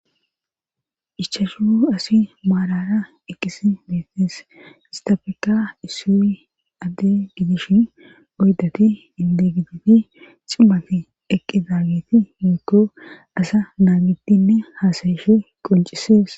ichashu asi maalara eqqis beetees istafeka issu adde gidishi oydati inde gititi cimaf eqqi zaageti meekko asa naa giddinne haasayeshe qoncisees